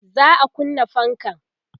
za'a kunna fankan